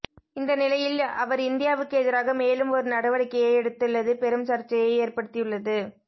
இந்த நிலையில் அவர் இந்தியாவுக்கு எதிராக மேலும் ஒரு நடவடிக்கையை எடுத்துள்ளது பெரும் சர்ச்சையை ஏற்படுத்தியுள்ளது